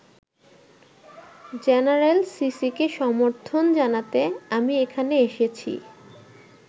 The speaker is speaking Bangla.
জেনারেল সিসিকে সমর্থন জানাতে আমি এখানে এসেছি।